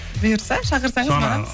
бұйырса шақырсаңыз